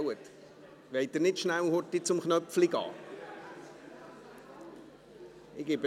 Wollen Sie nicht schnell zum Knöpfchen gehen?